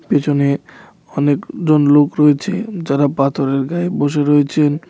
পেছনে অনেকজন লোক রয়েছেন যারা পাথরের গায়ে বসে রয়েছেন.